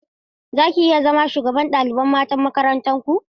Zaki iya zama shugabar ɗalibai matan makarantar ku?